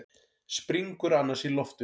Springur annars í loft upp.